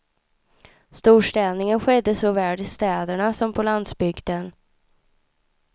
Storstädningen skedde såväl i städerna som på landsbygden.